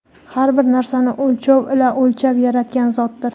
har bir narsani o‘lchov ila o‘lchab yaratgan Zotdir.